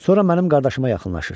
Sonra mənim qardaşıma yaxınlaşır.